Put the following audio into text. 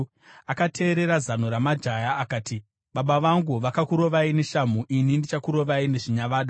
akateerera zano ramajaya akati, “Baba vangu vakakurovai neshamhu ini ndichakurovai nezvinyavada.”